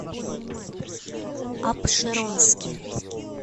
апшеронске